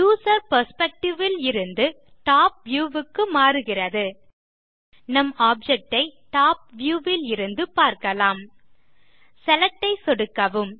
user perspective லிருந்து top view க்கு மாறுகிறது நம் ஆப்ஜெக்ட் ஐ டாப் வியூ லிருந்து பார்க்கலாம் செலக்ட் ஐ சொடுக்கவும்